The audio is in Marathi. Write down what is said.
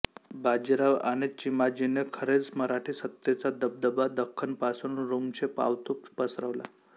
बाजीराव आणि चिमाजीने खरेच मराठी सत्तेचा दबदबा दख्खनपासून रुमशेपावतो पसरवला